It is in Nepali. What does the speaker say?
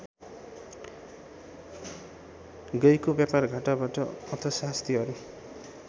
गएको व्यापारघाटाबाट अर्थशास्त्रीहरू